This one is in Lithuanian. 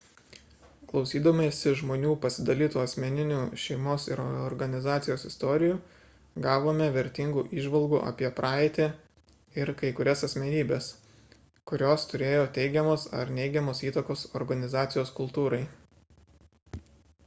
klausydamiesi žmonių pasidalytų asmeninių šeimos ir organizacijos istorijų gavome vertingų įžvalgų apie praeitį ir kai kurias asmenybes kurios turėjo teigiamos ar neigiamos įtakos organizacijos kultūrai